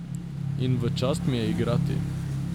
In v čast mi je igrati ...